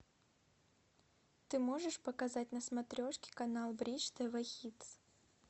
ты можешь показать на смотрешке канал бридж тв хитс